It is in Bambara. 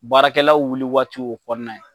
Baarakɛlaw wuli waati o kɔnɔ